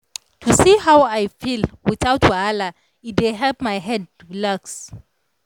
to see how i feel without wahala e dey help my head relax.